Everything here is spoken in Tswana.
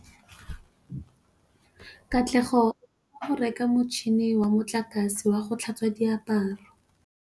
Katlego o batla go reka motšhine wa motlakase wa go tlhatswa diaparo.